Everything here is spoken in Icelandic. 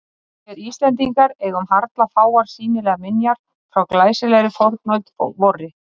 Vér Íslendingar eigum harla fáar sýnilegar minjar frá glæsilegri fornöld vorri.